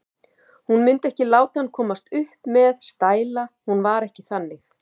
Hún mundi ekki láta hann komast upp með stæla, hún var ekki þannig.